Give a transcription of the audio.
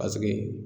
Paseke